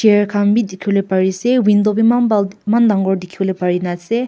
chair han beh dekhe pole bare ase window beh eman bal man dangor dekhe bole pare ase.